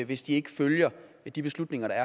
hvis de ikke følger de beslutninger der